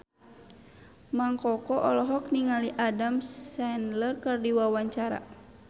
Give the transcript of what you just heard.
Mang Koko olohok ningali Adam Sandler keur diwawancara